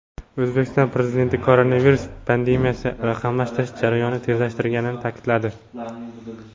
O‘zbekiston Prezidenti koronavirus pandemiyasi raqamlashtirish jarayonini tezlashtirganini ta’kidladi.